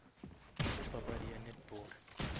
go papadi ya netball